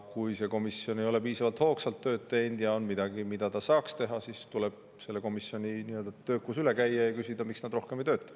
Kui see komisjon ei ole piisavalt hoogsalt tööd teinud ja on midagi, mida ta saaks teha, siis tuleb selle komisjoni nii-öelda töökus üle käia ja küsida, miks nad rohkem ei tööta.